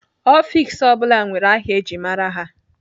Ọfiks ọ bụla nwere aha eji mara ha.